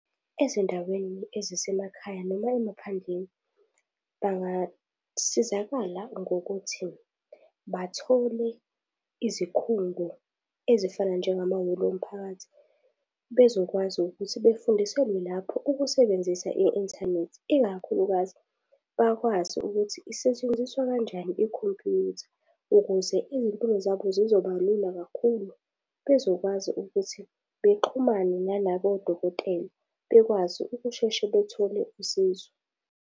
Ezindaweni ezisemekhaya noma emaphandleni bangasizakala ngokuthi bathole izikhungo ezifana njengama hholo omphakathi bezokwazi ukuthi befundiselwe lapho ukusebenzisa i-inthanethi ikakhulukazi bakwazi ukuthi isetshenziswa kanjani ikhompuyutha ukuze izimpilo zabo sizoba lula kakhulu bezokwazi ukuthi bexhumane nalabokodokotela bekwazi ukusheshe bethole usizo.